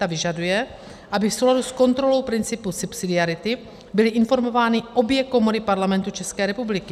Ta vyžaduje, aby v souladu s kontrolou principu subsidiarity byly informovány obě komory Parlamentu České republiky.